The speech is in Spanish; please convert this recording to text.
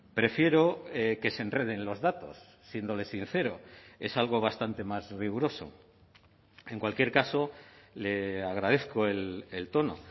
prefiero que se enreden los datos siéndole sincero es algo bastante más riguroso en cualquier caso le agradezco el tono